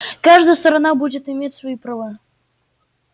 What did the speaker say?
каждая сторона будет иметь свои права